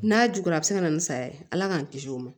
N'a juguyara a bɛ se ka na ni saya ye ala k'an kisi o ma